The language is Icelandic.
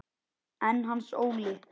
En Hans Óli?